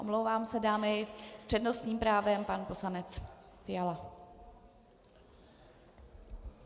Omlouvám se, dámy, s přednostním právem pan poslanec Fiala.